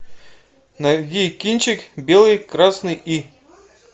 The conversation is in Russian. найди кинчик белый красный и